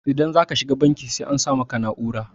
idan za ka shiga banki sai an sa maka na'urar